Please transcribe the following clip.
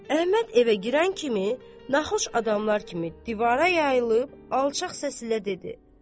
Əhməd evə girən kimi naxoş adamlar kimi divara yayılıb alçaq səslə dedi.